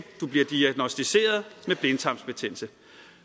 du bliver diagnosticeret med blindtarmsbetændelse